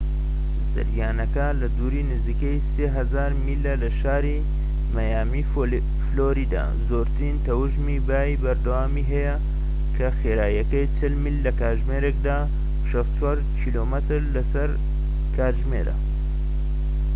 زریانەکە لە دووری نزیکەی 3000 میلە لە شاری مەیامی فلۆریدا، زۆرترین تەوژمی بای بەردەوامی هەیە کە خێراییەکەی 40 میل لە کاتژمێرێکدا 64 کیلۆمەتر لە سەر کاتژمێرە